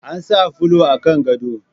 Ana sa fulo a kan gado